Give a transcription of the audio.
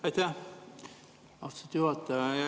Aitäh, austatud juhataja!